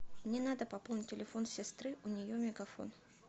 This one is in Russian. мне надо пополнить телефон сестры у нее мегафон